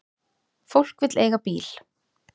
Fólk vill eiga bíl.